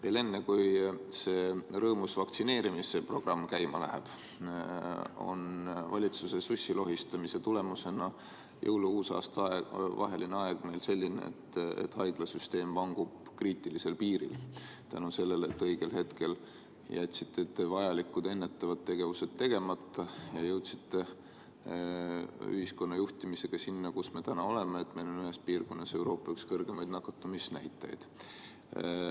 Veel enne, kui see rõõmus vaktsineerimise programm käima läheb, on valitsuse sussilohistamise tulemusena meil jõulu ja uusaasta vaheline aeg selline, et haiglasüsteem vangub kriitilisel piiril, kuna te õigel hetkel jätsite vajalikud ennetavad tegevused tegemata ja jõudsite ühiskonna juhtimisega sinna, kus me täna oleme, et meil on ühes piirkonnas Euroopa üks kõrgemaid nakatumisnäitajaid.